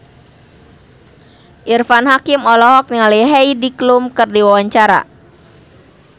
Irfan Hakim olohok ningali Heidi Klum keur diwawancara